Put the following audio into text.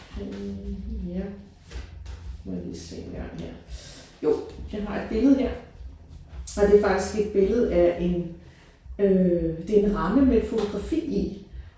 Øh ja må jeg lige se engang her. Jo jeg har et billede her og det er faktisk et billede af en øh det er en ramme med et fotografi i